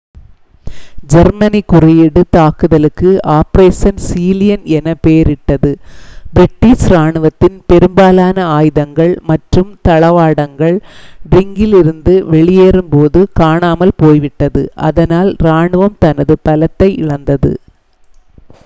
Germany குறியீடு தாக்குதலுக்கு operation sea lion' என பெயரிட்டது பிரிட்டிஷ் இராணுவத்தின் பெரும்பாலான ஆயுதங்கள் மற்றும் தளவாடங்கள் டங்க்ரிங்கிலிருந்து வெளியேறும்போது காணாமல் போய்விட்டது அதனால் இராணுவம் தனது பலத்தை இழந்தது